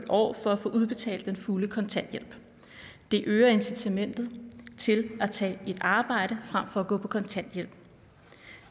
år for at få udbetalt den fulde kontanthjælp det øger incitamentet til at tage et arbejde frem for at gå på kontanthjælp